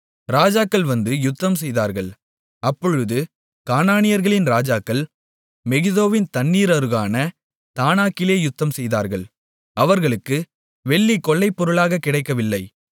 ராஜாக்கள் வந்து யுத்தம்செய்தார்கள் அப்பொழுது கானானியர்களின் ராஜாக்கள் மெகிதோவின் தண்ணீர் அருகான தானாக்கிலே யுத்தம்செய்தார்கள் அவர்களுக்கு வெள்ளி கொள்ளைப் பொருளாக கிடைக்கவில்லை